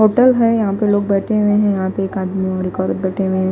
Hotel है यहां पे लोग बैठे हुए हैं यहां पे एक आदमी लिखकर बैठे हुए हैं।